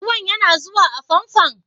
Ruwan yana zuwa a fomfon?